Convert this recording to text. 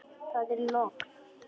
Það er logn.